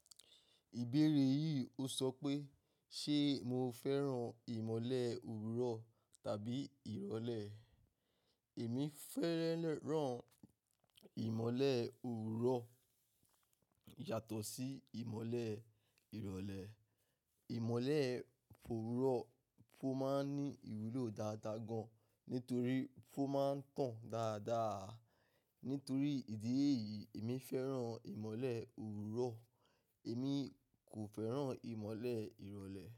Ìbéèrè yìí ó sọ pé, ṣe mo fẹ́ràn ìmọ̀le òwúrọ̀ tàbí ìrọ̀lẹ́? Èmi fẹ́ràn ìmọ̀le òwúrọ̀ yàtọ̀ sí ìmọ̀le ìrọ̀lẹ́. Ìmọ̀le òwúrọ̀ ló máa ń ní ìwúlò dáadáa gan, nítorí ó máa ń tàn dáadáa. Nítorí ìdí èyí, èmi fẹ́ràn ìmọ̀le òwúrọ̀, èmi kò fẹ́ràn ìmọ̀le ìrọ̀lẹ́.